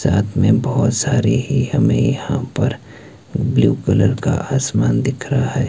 साथ में बहोत सारी ही हमें यहां पर ब्लू कलर का आसमान दिख रहा है।